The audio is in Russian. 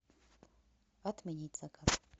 отменить заказ